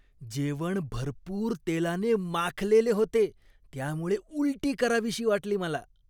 जेवण भरपूर तेलाने माखलेले होते, त्यामुळे उलटी करावीशी वाटली मला.